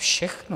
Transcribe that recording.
Všechno!